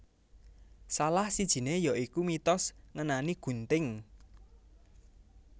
Salah sijiné ya iku mitos ngenani gunting